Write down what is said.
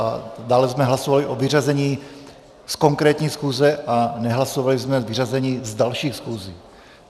A dále jsme hlasovali o vyřazení z konkrétní schůze a nehlasovali jsme vyřazení z dalších schůzí.